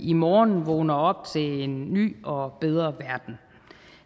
i morgen vågner op til en ny og bedre verden